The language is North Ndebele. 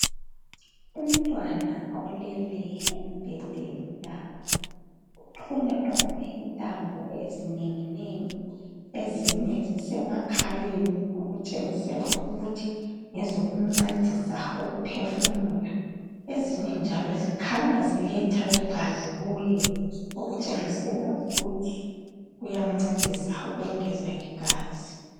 Umntwana olele embhedeni lapha, uxhunyaxhunywe intambo ezinenginengi, ezinye zisemakhaleni okutshengisela ukuthi ngezokumncedisa ukuphefumula. Ezinye njalo zikhanya ziletha igazi kuye okutshengisela ukuthi kuyamncedisa ukwengeza igazi.